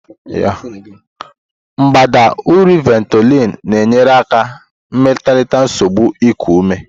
Mbadamba ụrọ Ventolin na-enyere aka melite nsogbu iku ume.